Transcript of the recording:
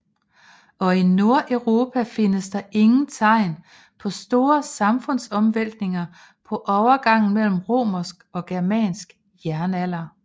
Og i Nordeuropa findes der ingen tegn på store samfundsomvæltninger på overgangen mellem romersk og germansk jernalder